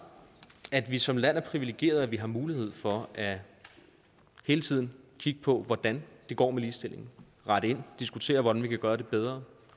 at vi som land er privilegeret at vi har mulighed for hele tiden at kigge på hvordan det går med ligestillingen rette ind og diskutere hvordan vi kan gøre det bedre